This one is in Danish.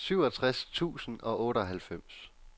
syvogtres tusind og otteoghalvfems